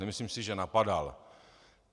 Nemyslím si, že napadal.